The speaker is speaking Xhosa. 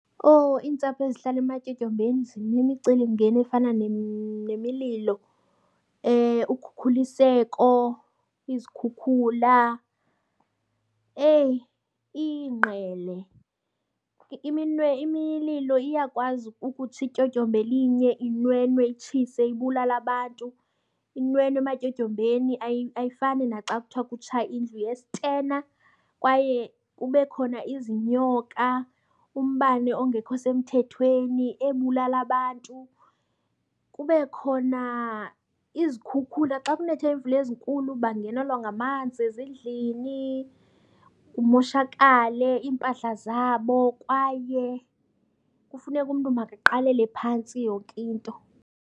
Owu, iintsapho ezihlala ematyotyombeni zinemicelimngeni efana nemililo, ukhukhuliseko, izikhukhula. Eyi, iingqele. Imililo iyakwazi ukutsha ityotyomba elinye inwenwe itshise ibulale abantu, inwenwe ematyotyombeni, ayifani naxa kuthiwa kutsha indlu yesitena. Kwaye kube khona izinyoka, umbane ongekho semthethweni ebulala abantu. Kube khona izikhukhula. Xa kunethe imvula ezinkulu bangenelwa ngamanzi ezindlini kumoshakale iimpahla zabo kwaye kufuneke umntu makaqalele phantsi yonke into.